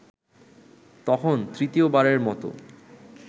তখন তৃতীয়বারের মতো